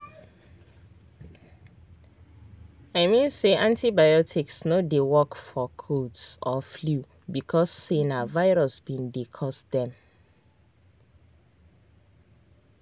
make una dey finish una antibiotics everytime even if una don dey feel better after small dose